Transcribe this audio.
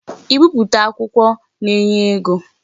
I bipụta akwukwo na-enye ego.